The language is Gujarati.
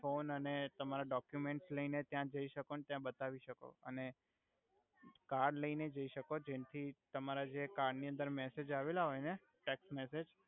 ફોન અને તમારા ડોક્યુમેન્ટસ લઈ ને ત્યા જઈ સકો અને ત્યા બતાવી સકો અને કાર્ડ લઈ ને જઈ સકો જેનથી તમારા જે કાર્ડ ની અંદર મેસેજ આવેલા હોય ને ટેકસ્ટ મેસેજ